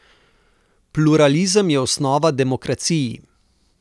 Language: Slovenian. Pluralizem je osnova demokraciji.